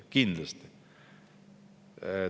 Kindlasti!